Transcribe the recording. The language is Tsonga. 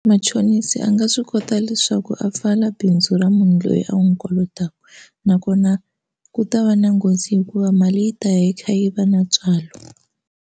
Machonisi a nga swi kota leswaku a pfala bindzu ra munhu loyi a n'wi kolotaka nakona ku ta va na nghozi hikuva mali yi ta yi kha yi va na ntswalo.